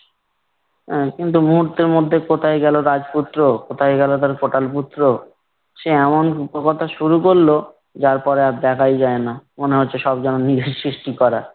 অ্যা কিন্তু মুহূর্তের মধ্যে কোথায় গেলো রাজপুত্র, কোথায় গেলো তার কোটালপুত্র সে এমন রূপকথা শুরু করলো যার পরে আর দেখাই যায় না। মনে হচ্ছে সব যেন নিজের সৃষ্টি করা।